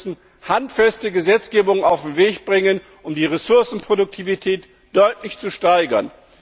Wir müssen handfeste Gesetzgebung auf den Weg bringen, um die Ressourcenproduktivität deutlich zu steigern.